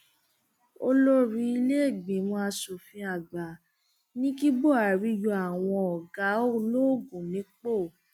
olórí ìlèégbìmọ asòfin àgbà ní kí buhari yọ àwọn ọgá ológun nípò